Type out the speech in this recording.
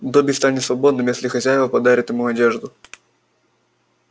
добби станет свободным если хозяева подарят ему одежду